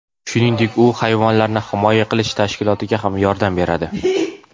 Shuningdek, u hayvonlarni himoya qilish tashkilotiga ham yordam beradi.